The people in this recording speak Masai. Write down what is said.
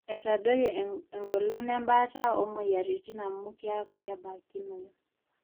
eitadoyio eng'olon embaata oomueyiaritin amu keeku kebaikinoyu